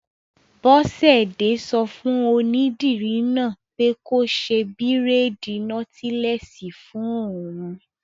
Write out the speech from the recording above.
Bọ́sẹ̀dé sọ fún onídìrí náà pé kó ṣe bírèèdì nọ́tílẹ́ẹ̀sì fún òun